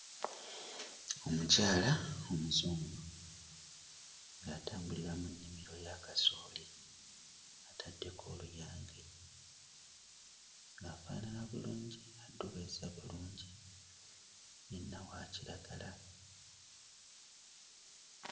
Omukyala omuzungu ng'atambulira mu nnimiro ya kasooli ataddeko oluyange. Afaanana bulungi addugazza bulungi yenna wa kiragala.